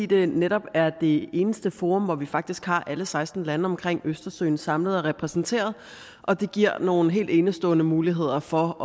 det netop er det eneste forum hvor vi faktisk har alle seksten lande omkring østersøen samlet og repræsenteret og det giver nogle helt enestående muligheder for